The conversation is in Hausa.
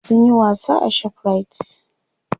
sun Yi wasa a shoprite